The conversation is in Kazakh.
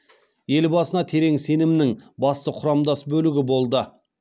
елбасына терең сенімнің басты құрамдас бөлігі болды